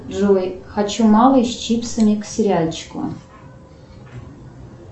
джой хочу малый с чипсами к сериальчику